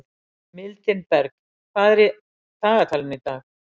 Mildinberg, hvað er í dagatalinu í dag?